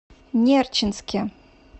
нерчинске